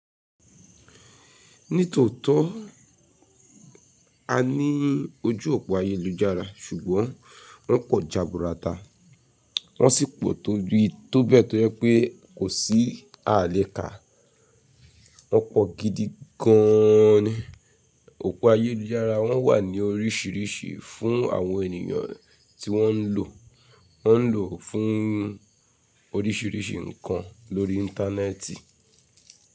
Nítòótó a ní ojú òpó ayélujára ṣùgbọ́n wọ́n pọ̀ jaburata, wọ́n sì pọ̀ tó bí i tó bẹ́ẹ̀ tó jẹ́ pé kò sí àalékà. Wọ́n pọ̀ gidi gan an ni. Òpó ayélujára wọ́n wà ní orísìírísìí fún àwọn ènìyàn tí wọ́n ń lò. Wọ́n ń lò ó fún orísìírísìí ǹkan lórí íńtánẹ́ẹ̀tì.